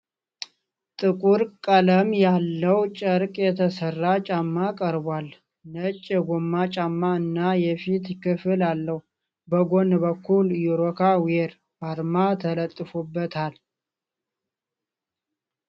ጥቁር ቀለም ያለው ጨርቅ የተሰራ ጫማ ቀርቧል። ነጭ የጎማ ጫማ እና የፊት ክፍል አለው፤ በጎን በኩል የ"ሮካ ዊር" አርማ ተለጥፎበታል።